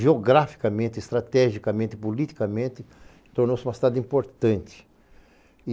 Geograficamente, estrategicamente, politicamente, tornou-se uma cidade importante.